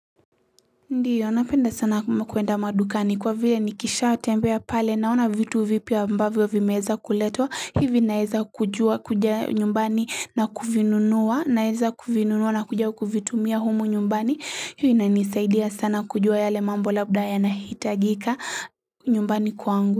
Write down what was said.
Ndiyo napenda sana kuenda madukani kwa vile nikishatembea pale naona vitu vipya ambavyo vimeeza kuletwa hivi naeza kujua kuja nyumbani na kuvinunua na kuja kuvitumia humu nyumbani hivi inanisaidia sana kujua yale mambo labda yanahitajika nyumbani kwangu.